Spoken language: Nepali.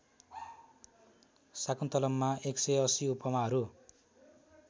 शाकुन्तलममा १८० उपमाहरू